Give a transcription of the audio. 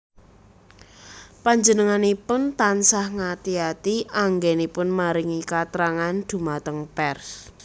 Panjenenganipun tansah ngati ati anggénipun maringi katrangan dhumateng pers